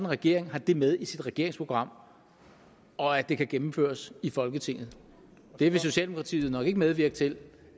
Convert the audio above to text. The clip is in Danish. regering har det med i sit regeringsprogram og at det kan gennemføres i folketinget det vil socialdemokratiet nok ikke medvirke til